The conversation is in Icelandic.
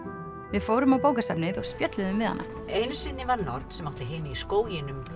við fórum á bókasafnið og spjölluðum við hana einu sinni var norn sem átti heima í skóginum